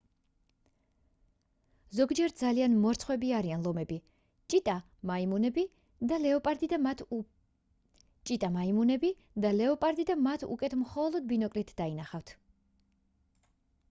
ზოგჯერ ძალიან მორცხვები არიან ლომები ჩიტა მაიმუნები და ლეოპარდი და მათ უკეთ მხოლოდ ბინოკლით დაინახავთ